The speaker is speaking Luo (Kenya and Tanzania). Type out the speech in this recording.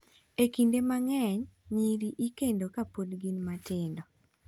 """E kinde mang'eny, nyiri ikendo ka pod gin matindo."